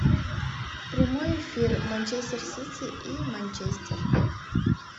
прямой эфир манчестер сити и манчестер